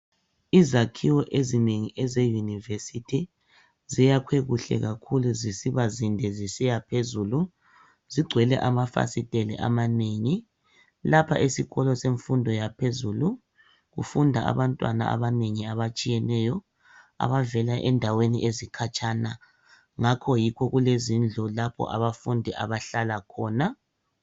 Izakhiwo ezinengi eze university ziyakhwe kuhle kakhulu zisiba zinde zisiyaphezulu zigcwele amafasitela amanengi lapha esikolo semfundo yaphezulu kufunda abantwana abanengi abatshiyeneyo abavela endaweni ezikatshana ngakho yikho lkulezindlu lapho abafundi abahlala khona.